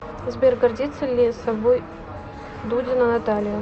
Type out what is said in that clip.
сбер гордится ли собой дудина наталья